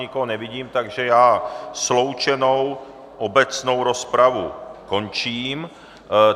Nikoho nevidím, takže já sloučenou obecnou rozpravu končím.